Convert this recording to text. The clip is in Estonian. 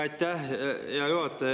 Aitäh, hea juhataja!